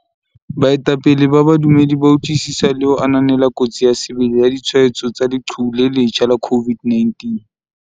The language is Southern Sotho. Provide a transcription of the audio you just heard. Baetapele ba badumedi ba utlwisisa le ho ananela kotsi ya sebele ya ditshwaetso tsa leqhubu le le letjha la COVID-19.